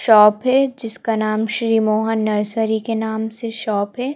Shop है जिसका नाम श्री मोहन नर्सरी के नाम से शॉप है।